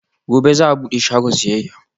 Gobe ​​za'a bude shagon siyayya